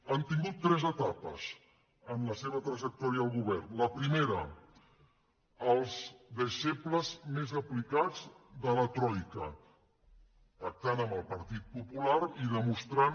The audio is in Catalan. han tingut tres etapes en la seva trajectòria al go·vern la primera els deixebles més aplicats de la troi·ca pactant amb el partit popular i demostrant